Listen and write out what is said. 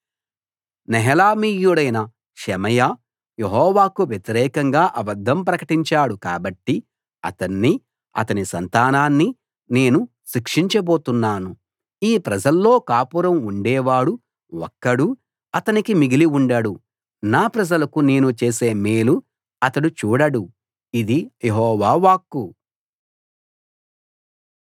నెహెలామీయుడైన Shemaiah యెహోవాకు వ్యతిరేకంగా అబద్ధం ప్రకటించాడు కాబట్టి అతన్నీ అతని సంతానాన్నీ నేను శిక్షించబోతున్నాను ఈ ప్రజల్లో కాపురం ఉండేవాడు ఒక్కడూ అతనికి మిగిలి ఉండడు నా ప్రజలకు నేను చేసే మేలు అతడు చూడడు ఇది యెహోవా వాక్కు